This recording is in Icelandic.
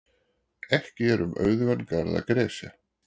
Ekki er um auðugan garð að gresja.